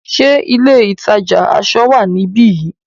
Ṣé ilé ìtajà aṣọ wá níbi yìí?